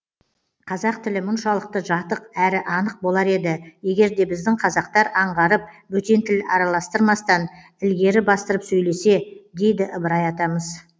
қазақ тілі мұншалықты жатық әрі анық болар еді егер де біздің қазақтар аңғарып бөтен тіл араластырмастан ілгері бастырып сөйлесе дейді ыбырай атамыз